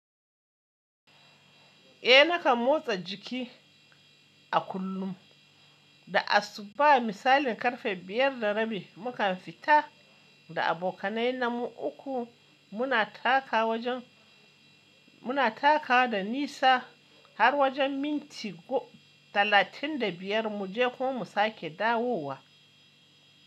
Eh nakan motsa jiki a kullum, da asuba misalin karfe biyar da rabi mukan fita da abokanai na mu uku muna taka wajen muna taka da nisa har wajen minti talatin da biyar mu je ko mu sake dawowa.